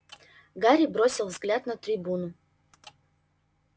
гарри бросил взгляд на трибуну